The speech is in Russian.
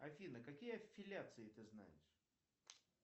афина какие аффилиации ты знаешь